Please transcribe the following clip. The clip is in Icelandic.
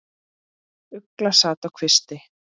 Ugla sat á kvisti.